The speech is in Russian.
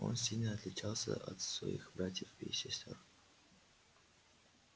он сильно отличался от своих братьев и сестёр